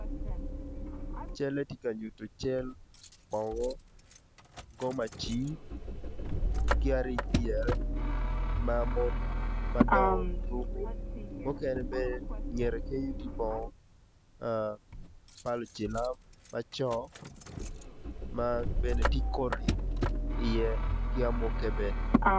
Calle ti ka nyutu bongo gomaci ki aric pyere ma mon madongo ruku mukene bene ingete kenyo ti bongo ma lucilam ma co ma bene ti koti iye ki amukke bene